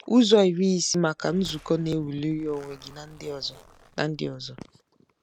Uzo Iri ISI MAKA Nzuko na-ewuliri onwe gi na ndi ozo na ndi ozo